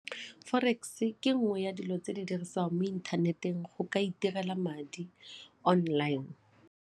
Forex ke nngwe ya dilo tse di dirisiwang mo inthaneteng go ka itirela madi online.